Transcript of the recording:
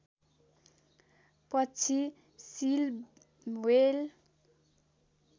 पक्षी seal whale